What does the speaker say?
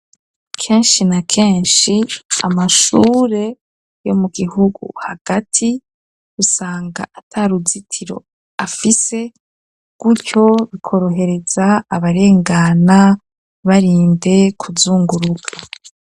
Kenshi na kenshi amashure yo mu gihugu hagati usanga ataruzitiro afise gutyo bikorohereza abarengana barinde kuzunguruka.